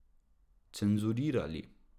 Cenzurirali.